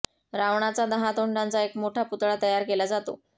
रावणाचा दहा तोंडाचा एक मोठा पुतळा तयार केला जातो